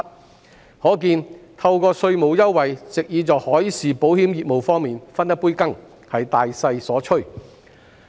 由此可見，藉稅務優惠在海事保險業務方面分一杯羹是大勢所趨。